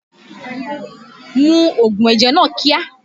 Mu ògùn ẹ̀jẹ̀ náà kíá!